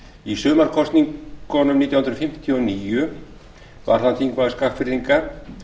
í sumarkosningum nítján hundruð fimmtíu og níu varð hann þingmaður skagfirðinga